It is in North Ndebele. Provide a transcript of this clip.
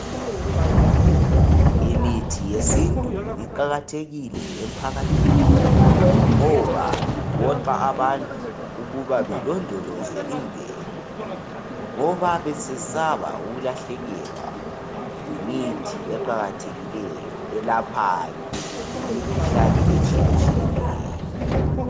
Imithi yesintu iqakathekile emphakathini ngoba iphoqa abantu ukuba belondoloze imvelo, ngoba bayabe besesaba ukulahlekelwa yimithi eqakathekileyo elaphayo imikhuhlane etshiyetshiyeneyo.